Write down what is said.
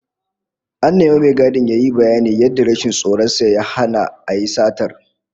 An nemi mai gadin yayi bayanin yadda rashin tsoron sa ya hana a yi satar